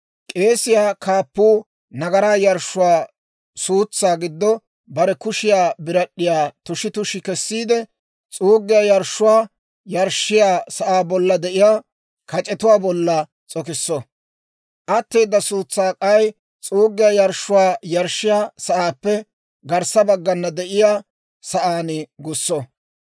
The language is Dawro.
K'eesiyaa kaappuu nagaraa yarshshuwaa suutsaa giddo bare kushiyaa birad'd'iyaa tushi tushi kessiide, s'uuggiyaa yarshshuwaa yarshshiyaa sa'aa bolla de'iyaa kac'etuwaa bolla s'okisso; atteeda suutsaa k'ay s'uuggiyaa yarshshuwaa yarshshiyaa sa'aappe garssa baggana de'iyaa sa'aan gusso.